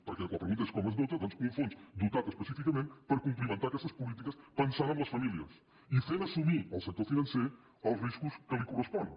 perquè la pregunta és com es dota doncs un fons dotat específicament per complimentar aquestes polítiques pensant en les famílies i fent assumir al sector financer els riscos que li corresponen